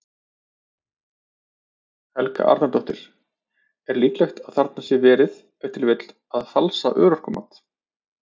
Helga Arnardóttir: Er líklegt að þarna sé verið, ef til vill, að falsa örorkumat?